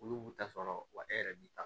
Olu b'u ta sɔrɔ wa e yɛrɛ b'i ta